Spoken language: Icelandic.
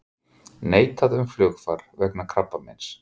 Neitað um flugfar vegna krabbameins